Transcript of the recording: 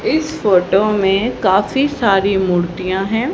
इस फोटो में काफी सारी मूर्तियां है।